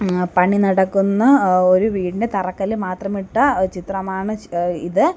ആഹ് പണി നടക്കുന്ന ഒരു വീടിൻ്റ തറക്കല്ല് മാത്രമിട്ട ചിത്രമാണ് എഹ് ഇത്.